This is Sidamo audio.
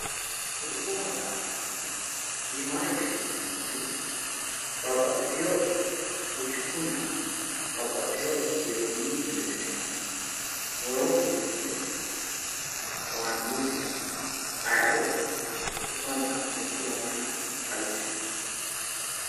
kriuu maxxafa aana iima higge fuulitinori babbaxitini politikunna babbaxitino biloonyu minnire ikkitana wro fulitinori ayiootiro mitu lamuyiha xawise